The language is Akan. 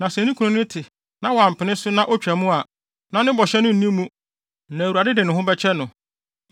Na sɛ ne kunu no te na, sɛ wampene so na, otwa mu a, na ne bɔhyɛ no nni mu na Awurade de ne ho bɛkyɛ no.